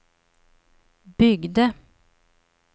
byggde